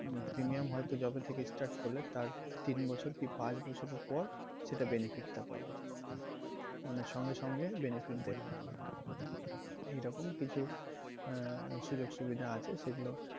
premium হয়তো যবে থেকে start করলে তার পরে হয়তো তিন বছর কি পাঁচ বছরের পর সেটার benefit টা পাবে মানে সঙ্গে সঙ্গে benefit দেবে না এইরকম কিছু আহ সুযোগ সুবিধা আছে সেগুলো,